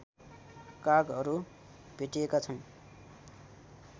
कागहरू भेटिएका छन्